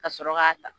Ka sɔrɔ k'a ta